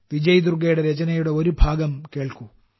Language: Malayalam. വിജയ് ദുർഗയുടെ രചനയുടെ ഒരു ഭാഗം കേൾക്കൂ